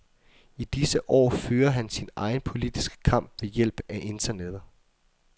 I disse år fører han sin egen politiske kamp ved hjælp af Internettet.